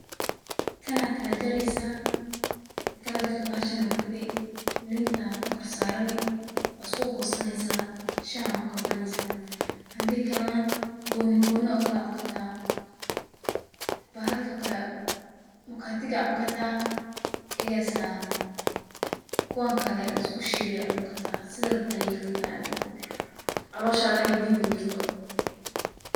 Kana kala jareysa, marka kala jarto bahshan aa kuridani, linta kor saarani waa isku goosaneysa, shaha ku kabaneysa handi kale na gooni gooni aa ukala cuni karta, bahalka kale mukatig aa cuni karta egaas aa kuwan kale lisku shiille aa cuni karta, sida rabto aa yeli karta adi, calosha waxay diidi majirto